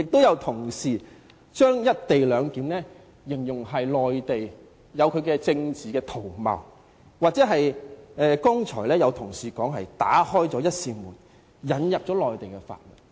有同事把"一地兩檢"形容為內地的政治圖謀，剛才有同事說是"打開了一扇門，引入內地法律"。